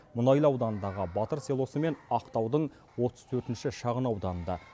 мұнайлы ауданындағы батыр селосы мен ақтаудың отыз төртінші шағынауданында